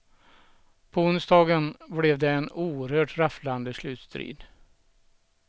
På onsdagen blev det en oerhört rafflande slutstrid.